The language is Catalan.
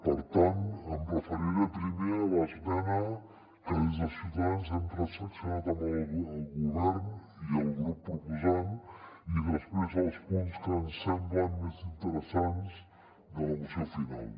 per tant em referiré primer a l’esmena que des de ciutadans hem transaccionat amb el govern i el grup propo·sant i després als punts que ens semblen més interessants de la moció final